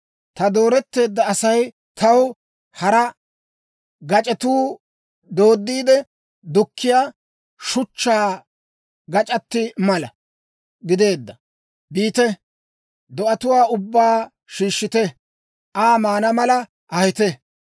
Ta dooretteedda Asay taw hara gac'etuu dooddiide dukkiyaa shachchaa gac'ati mala gideedee? Biite; do'atuwaa ubbaa shiishshite; Aa maana mala ahite.